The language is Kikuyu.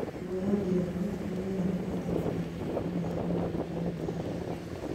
Ndundu ya mbirarũ nĩmeranĩire atĩ wathani ũkũneanwo moko-ini ma raia